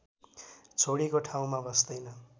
छोडेको ठाउँमा बस्दैन